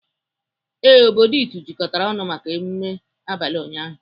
Ee, obodo Itu jikọtara ọnụ maka emume abalị ụnyaahụ.